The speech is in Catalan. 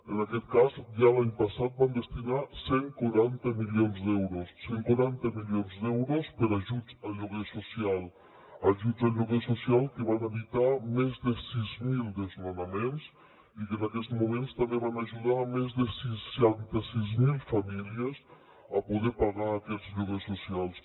en aquest cas ja l’any passat vam destinar cent i quaranta milions d’euros cent i quaranta milions d’euros per a ajuts a lloguer social ajuts a lloguer social que van evitar més de sis mil desnonaments i que en aquests moments també van ajudar més de seixanta sis mil famílies a poder pagar aquests lloguers socials